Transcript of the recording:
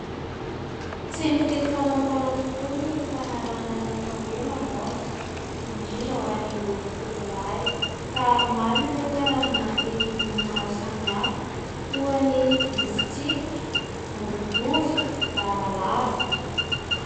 Tsy mifidy saran-taona tokoa ny fanarahan'ny atao hoe lamody. Indrindra ho an'ireo tovolahy, ka maro ireo karazana hety-bolo maro samy hafa toa ny misy tsipika, boribory, lavalava.